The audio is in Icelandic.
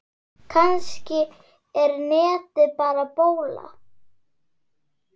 Kannski er netið bara bóla.